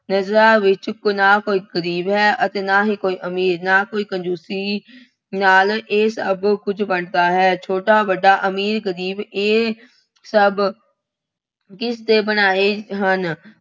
ਨਜ਼ਰਾਂ ਵਿੱਚ ਨਾ ਕੋਈ ਗਰੀਬ ਹੈ ਅਤੇ ਨਾ ਹੀ ਕੋਈ ਅਮੀਰ, ਨਾ ਹੀ ਕੋਈ ਕੰਜ਼ੂਸੀ ਨਾਲ ਇਹ ਸਭ ਕੁੱਝ ਵੰਡਦਾ ਹੈ। ਛੋਟਾ-ਵੱਡਾ, ਅਮੀਰ-ਗਰੀਬ ਇਹ ਸਭ ਕਿਸਦੇ ਬਣਾਏ ਹਨ।